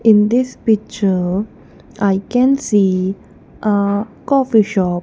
in this picture i can see a coffee shop.